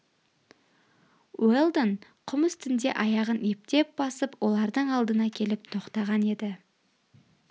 уэлдон құм үстінде аяғын ептеп басып олардың алдына келіп тоқтаған еді